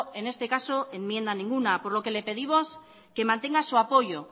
en este caso enmienda ninguna por lo que le pedimos que mantenga su apoyo